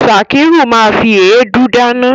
Sakiru ma fi èédú dáná.